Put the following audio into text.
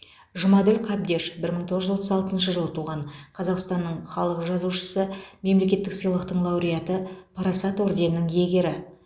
жұмаділ қабдеш бір мың тоғыз жүз отыз алтыншы жылы туған қазақстанның халық жазушысы мемлекеттік сыйлықтың лауреаты парасат орденінің иегері